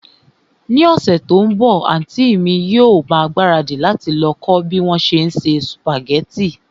Ní ọ̀sẹ̀ tí ó ń bọ̀, àntí mi yóò ma ìgbáradì láti lọ kọ́ bí wón se ń se sùpàgẹ́tì